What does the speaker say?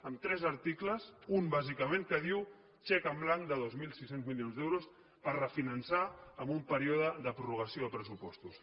amb tres articles un bàsicament que diu xec en blanc de dos mil sis cents milions d’euros per refinançar en un període de prorrogació de pressupostos